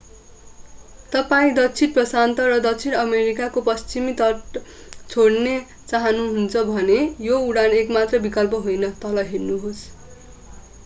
तपाईं दक्षिण प्रशान्त र दक्षिण अमेरिकाको पश्चिमी तट छोड्न चाहनुहुन्छ भने यो उडान एकमात्र विकल्प होइन। तल हेर्नुहोस्‌